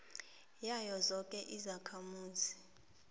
yazo zoke izakhamuzi